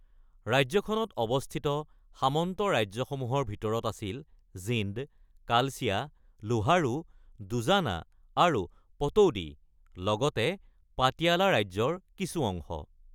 ৰাজ্যখনত অৱস্থিত সামন্ত ৰাজ্যসমূহৰ ভিতৰত আছিল জিন্দ, কালচিয়া, লোহাৰু, দুজানা আৰু পতৌদি, লগতে পাটিয়ালা ৰাজ্যৰ কিছু অংশ।